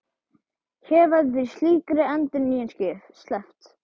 Hér verður því slíkri endurnýjun sleppt.